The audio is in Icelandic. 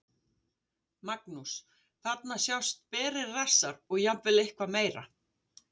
Magnús: Þarna sjást berir rassar og jafnvel eitthvað meira?